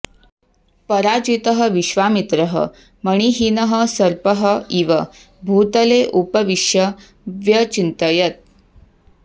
पराजितः विश्वामित्रः मणिहीनः सर्पः इव भूतले उपविष्य व्यचिन्तयत्